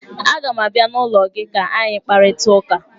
Aga m abịa n'ụlọ gị ka anyị kparịta ụka